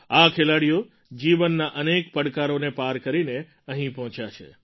આ ખેલાડીઓ જીવનના અનેક પડકારોને પાર કરીને અહીં પહોંચ્યા છે